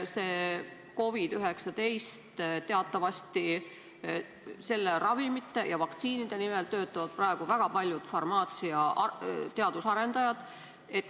Teatavasti töötavad COVID-19 ravimite ja vaktsiinide nimel praegu väga paljud farmaatsiateaduse arendajad.